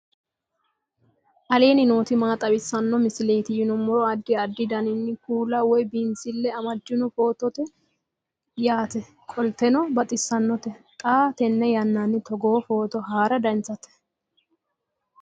aleenni nooti maa xawisanno misileeti yinummoro addi addi dananna kuula woy biinsille amaddino footooti yaate qoltenno baxissannote xa tenne yannanni togoo footo haara danvchate